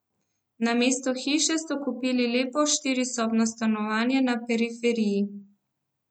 Namesto hiše so kupili lepo štirisobno stanovanje na periferiji.